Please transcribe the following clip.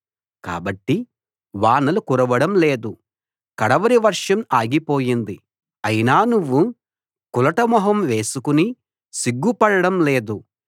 కాబట్టి వానలు కురవడం లేదు కడవరి వర్షం ఆగిపోయింది అయినా నువ్వు కులట మొహం వేసుకుని సిగ్గు పడడం లేదు